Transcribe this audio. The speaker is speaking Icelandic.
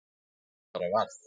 Ég bara varð.